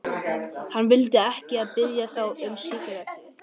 Hann vildi ekki biðja þá um sígarettu.